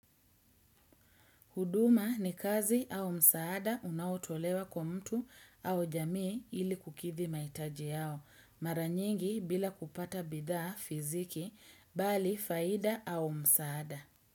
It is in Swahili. Huduma ni kazi au msaada unaotolewa kwa mtu au jamii ili kukidhi mahitaji yao, mara nyingi bila kupata bidhaa fiziki, bali faida au msaada.